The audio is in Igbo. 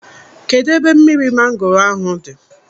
Kedụ ebe mmiri mangoro ahụ dị?